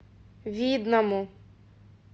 видному